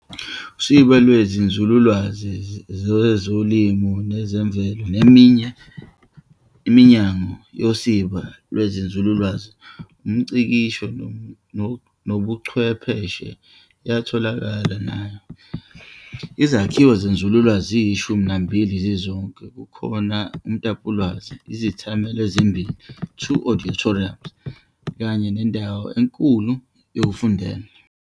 Usiba lweziNzululwazi zezoLimo nezeMvelo neminye iminyango yosiba lwenzululwazi, umNgcikisho nobuChwepheshe iyatholakala nayo. Izakhiwo zenzululwazi ziyishumi nambili zizonke, kukhona umtapolwazi, izethamelo ezimbili, "2 auditoriums", kanye nendawo enkulu yokufundela.